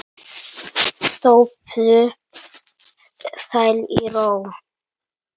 Sofðu sæll í ró.